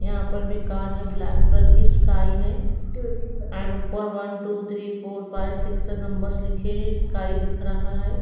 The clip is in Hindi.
यहां पर भी कार है ब्लैक कलर की स्काई है एंड ऊपर one two three four five six numbers लिखे स्काई दिख रहा है।